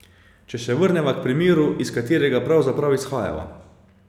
Če se vrneva k primeru, iz katerega pravzaprav izhajava.